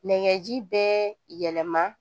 Nɛkɛ ji bɛɛ yɛlɛma